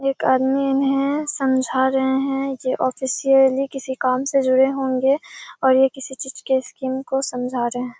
एक आदमी इन्हे समझा रहें हैं। ये ऑफिशियली किसी काम से जुड़े होंगे और ये किसी चीजे के स्कीम को समझा रहें हैं।